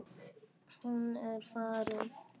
Hún er farin.